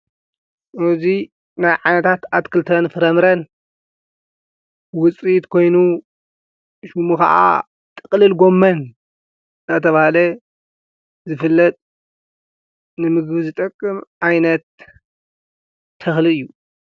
እዙይ ናይ ዓነታት ኣትክልትን ፍረምረን ውፅኢት ኮይኑ ሹሙ ኸዓ ጥቕልል ጐመን ኣናተብሃለ ዝፍለጥ ንምግቢ ዝጠቅም ዓይነት ተኽሊ እዩ::